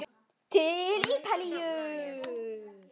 Til Ítalíu!